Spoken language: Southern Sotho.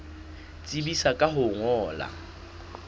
tsebisa ka ho o ngolla